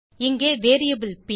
இங்கே வேரியபிள் ப்